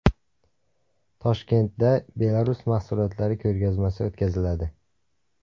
Toshkentda Belarus mahsulotlari ko‘rgazmasi o‘tkaziladi.